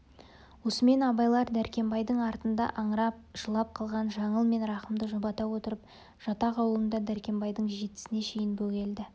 осымен абайлар дәркембайдың артында аңырап жылап қалған жаңыл мен рахымды жұбата отырып жатақ аулында дәркембайдың жетісіне шейін бөгелді